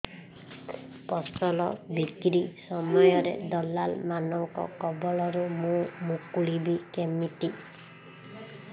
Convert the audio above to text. ଫସଲ ବିକ୍ରୀ ସମୟରେ ଦଲାଲ୍ ମାନଙ୍କ କବଳରୁ ମୁଁ ମୁକୁଳିଵି କେମିତି